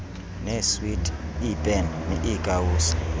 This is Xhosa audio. neeswiti iipeni iikawusi